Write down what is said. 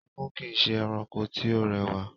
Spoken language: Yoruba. Igún kìí ṣe erankọ tí ó rẹwà.